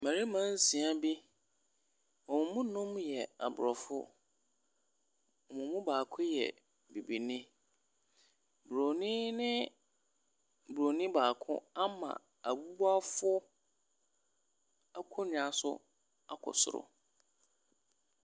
Mmarima nsia bi, wɔn mu nnum yɛ Aborɔfo, na wɔn mu baako yɛ Bibini. Bronin ne Bronin baako ama abubuafoɔ akonnwa so akɔ soro.